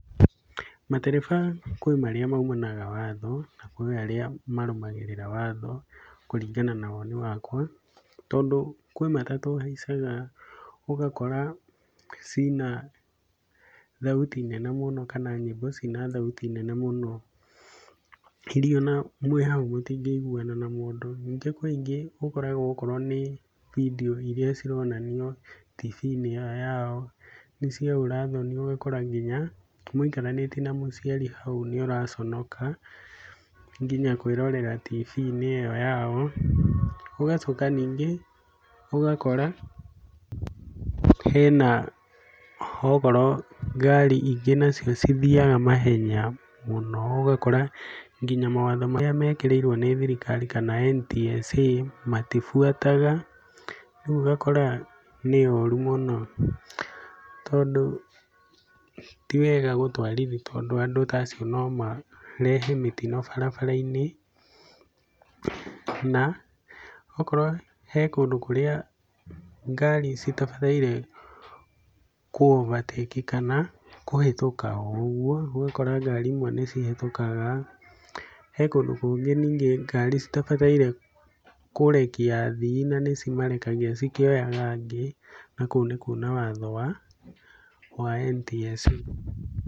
Matereba kwĩ marĩa maumanaga watho na kwĩ arĩa marũmagĩrĩra watho kũringana na woni wakwa. Tondũ kwĩ matatũ haicaga ũgakora cina thauti nene mũno kana nyĩmbo cina thauti nene mũno, irĩa ona mwĩhau mũtingĩiguana na mũndũ. Ningĩ kwĩ ingĩ ũkoraga okorwo nĩ video irĩa cironanio TV-inĩ ĩyo yao nĩ cia ũra thoni ũgakora nginya mũikaranĩtie na mũciari hau nĩ ũraconoka nginya kwĩrorera TV-inĩ ĩyo yao. Ũgacoka ningĩ ũgakora hena okorwo ngari ingĩ nacio ithiaga mahenya mũno ũgakora nginya mawatho marĩa mekĩrĩirwo nĩ thirikari kana NTSA matibuataga. Rĩu ũgakora nĩ ũru mũno tondũ tiwega gũtwarithia tondũ andũ ta acio no marehe mĩtino barabara-inĩ. Na okorwo he kũndũ kũrĩa ngari citabarĩire kũ overtake kana kũhĩtĩka o ũguo, ũgakora ngari imwe nĩcihĩtũkaga. He kũndũ kũngĩ ngari citabataire kũrekia athii na nĩcimarekagia cikĩoyaga angĩ, na kũu nĩ kuuna watho wa NTSA.